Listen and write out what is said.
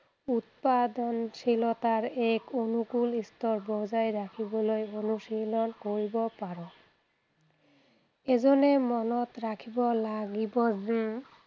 উৎপাদনশীলতাৰ এক অনুকুল স্তৰ বজাই ৰাখিবলৈ অনুশীলন কৰিব পাৰোঁ। এজনে মনত ৰাখিব লাগিব যে